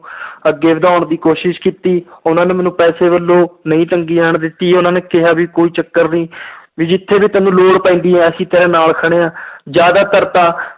ਅੱਗੇ ਵਧਾਉਣ ਦੀ ਕੋਸ਼ਿਸ਼ ਕੀਤੀ ਉਹਨਾਂ ਨੇ ਮੈਨੂੰ ਪੈਸੇ ਵੱਲੋਂ ਨਹੀਂ ਤੰਗੀ ਆਉਣ ਦਿੱਤੀ, ਉਹਨਾਂ ਨੇ ਕਿਹਾ ਵੀ ਕੋਈ ਚੱਕਰ ਨੀ ਵੀ ਜਿੱਥੇ ਵੀ ਤੈਨੂੰ ਲੋੜ ਪੈਂਦੀ ਹੈ ਅਸੀਂ ਤੇਰੇ ਨਾਲ ਖੜੇ ਹਾਂ ਜ਼ਿਆਦਾਤਰ ਤਾਂ